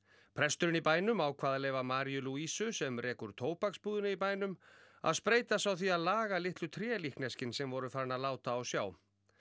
presturinn í bænum ákvað að leyfa Maríu Lúísu sem rekur í bænum að spreyta sig á því að laga litlu trélíkneskin sem voru farin að láta á sjá